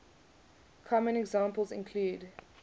common examples include